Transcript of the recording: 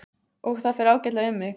Og það fer ágætlega um mig.